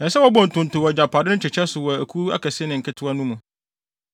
Ɛsɛ sɛ wɔbɔ ntonto wɔ agyapade no kyekyɛ so wɔ akuw akɛse ne nketewa no mu.”